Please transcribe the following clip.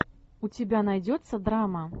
у тебя найдется драма